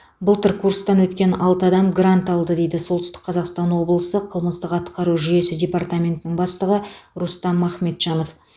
былтыр курстан өткен алты адам грант алды дейді солтүстік қазақстан облысы қылмыстық атқару жүйесі департаментінің бастығы рустам ахметжанов